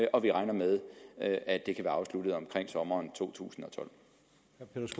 og vi regner med at at det kan være afsluttet omkring sommeren totusinde